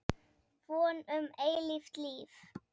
Von um eilíft líf.